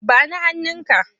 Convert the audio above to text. Ba ni hannunka!